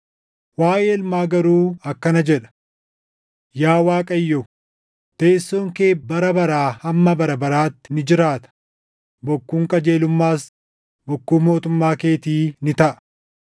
Waaʼee Ilmaa garuu akkana jedha; “Yaa Waaqayyo, teessoon kee bara baraa hamma bara baraatti ni jiraata; bokkuun qajeelummaas bokkuu mootummaa keetii ni taʼa.